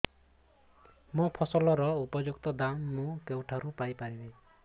ମୋ ଫସଲର ଉପଯୁକ୍ତ ଦାମ୍ ମୁଁ କେଉଁଠାରୁ ପାଇ ପାରିବି